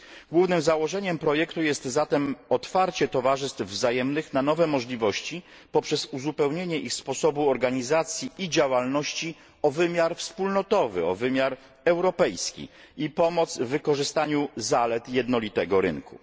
Głównym założeniem projektu jest zatem otwarcie towarzystw wzajemnych na nowe możliwości poprzez uzupełnienie ich sposobu organizacji i działalności o wymiar wspólnotowy, o wymiar europejski i pomoc w wykorzystaniu zalet jednolitego rynku.